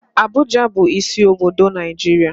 Abuja bu isi obodo Naijiria.